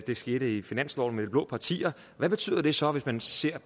det skete i finansloven med de blå partier hvad betyder det så hvis man ser